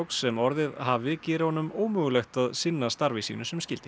sem orðið hafi geri honum ómögulegt að sinna starfi sínu sem skyldi